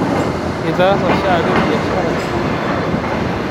Itaasa shaake biashara